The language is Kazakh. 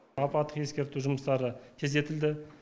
апаттық ескерту жұмыстары тездетілді